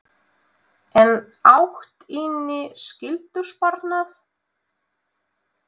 En átt inni skyldusparnað?